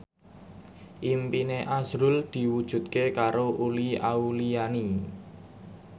impine azrul diwujudke karo Uli Auliani